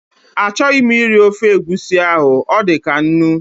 A chọghị m iri ofe egusi ahụ, ọ dịkaa nnu